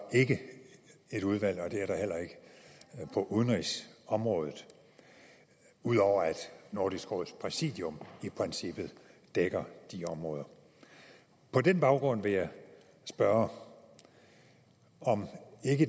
et udvalg og det er der heller ikke på udenrigsområdet ud over at nordisk råds præsidium i princippet dækker de områder på den baggrund vil jeg spørge om